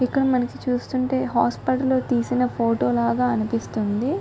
ఇక్కడ మనకి చూస్తుంటే హాస్పిటల్ లో తీసిన ఫోటో లాగా అనిపిస్తుంది.